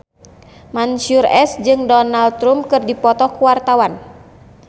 Mansyur S jeung Donald Trump keur dipoto ku wartawan